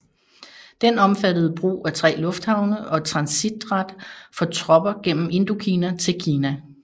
Den omfattede brug af tre lufthavne og transitret for tropper gennem Indokina til Kina